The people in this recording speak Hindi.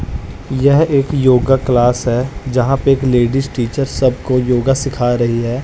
यह एक योगा क्लास है जहां पे एक लेडिस टीचर सब को योगा सीख रही है।